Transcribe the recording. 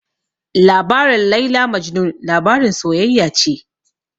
Labarin Laila Majnun labarin soyayya ce